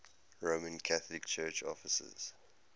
roman catholic church offices